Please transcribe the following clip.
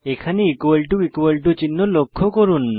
এখানে চিহ্ন লক্ষ্য করুন